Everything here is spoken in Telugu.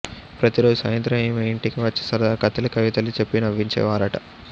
ప్రతీరోజూ సాయంత్రం ఆమె ఇంటికి వచ్చి సరదగా కథలు కవితలు చెప్పి నవ్వించేవారట